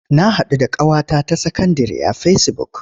Na haɗu da ƙawata ta sakandire a fesibuk.